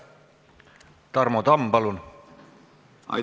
Tarmo Tamm, palun!